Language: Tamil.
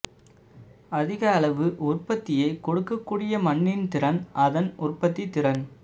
அதிக அளவு உற்பத்தியை கொடுக்கக்கூடிய மண்ணின் திறன் அதன் உற்பத்தித் திறன்